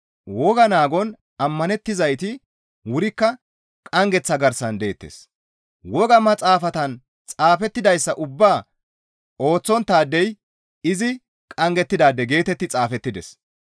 «Woga naagon ammanettizayti wurikka qanggeththa garsan deettes; woga maxaafatan xaafettidayssa ubbaa ooththonttaadey izi qanggettidaade» geetetti xaafettides.